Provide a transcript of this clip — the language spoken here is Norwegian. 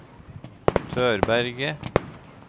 Tørberget